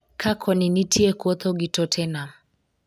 ka koni nitie kwotho ni Tottenham